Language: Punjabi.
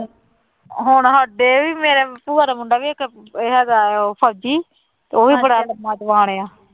ਹੁਣ ਸਾਡੇ ਵੀ ਮੇਰੇ ਭੂਆ ਦਾ ਮੁੰਡਾ ਵੀ ਇੱਕ ਹੈਗਾ ਹੈ ਉਹ ਫ਼ੋਜ਼ੀ, ਉਹ ਵੀ ਬੜਾ ਲੰਮਾ ਜਵਾਨ ਆਂ।